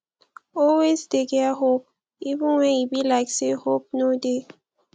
always dey get hope even wen e be like say hope no dey